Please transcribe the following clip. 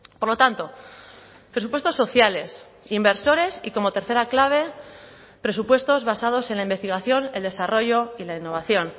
por lo tanto presupuestos sociales inversores y como tercera clave presupuestos basados en la investigación el desarrollo y la innovación